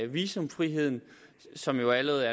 visumfriheden som jo allerede